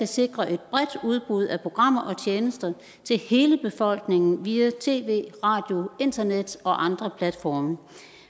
sikre et bredt udbud af programmer og tjenester til hele befolkningen via tv radio internet og andre platforme